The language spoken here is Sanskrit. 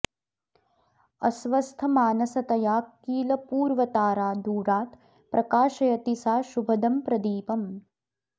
अस्वस्थमानसतया किल पूर्वतारा दूरात् प्रकाशयति सा शुभदं प्रदीपम्